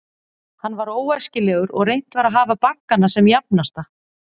Hann var óæskilegur, og reynt var að hafa baggana sem jafnasta.